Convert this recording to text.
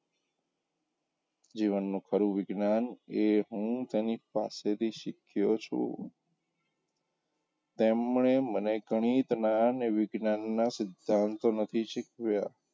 જીવનનું ખરું વિજ્ઞાન એ હું તેની પાસેથી શીખ્યો છું તેમને મને ઘણી જ્ઞાન વિજ્ઞાનનાં સિધ્ધાંતો નથી શીખવ્યાં,